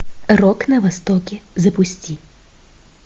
рок на востоке запусти